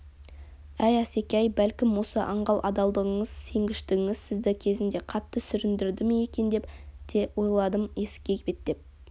әй асеке-ай бәлкім осы аңғал адалдығыңыз сенгіштігіңіз сізді кезінде қатты сүріндірді ме екен деп те ойладым есікке беттеп